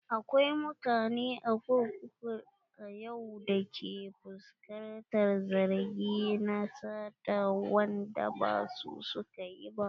Akwai mutane a kurkuku a yau da ke fuskantar zargi na sata wanda ba su suka yi ba.